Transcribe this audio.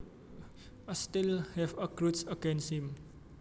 I still have a grudge against him